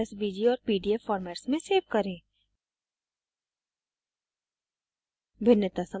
file को svg और pdf formats में svg करें